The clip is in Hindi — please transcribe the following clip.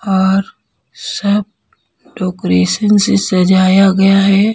और सब डेकोरेशन से सजाया गया है।